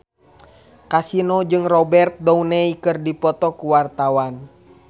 Kasino jeung Robert Downey keur dipoto ku wartawan